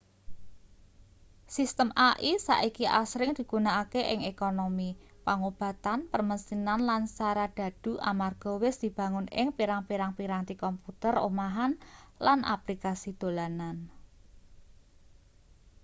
sistem ai saiki asring digunakake ing ekonomi pangobatan permesinan lan saradhadhu amarga wis dibangun ing pirang-pirang piranti komputer omahan lan aplikasi dolanan